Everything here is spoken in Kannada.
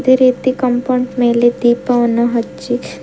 ಅದೇ ರೀತಿ ಕಾಂಪೌಂಡ್ ಮೇಲೆ ದೀಪವನ್ನು ಹಚ್ಚಿ--